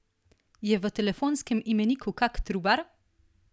Je v telefonskem imeniku kak Trubar?